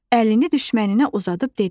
Əlini düşməninə uzadıb dedi.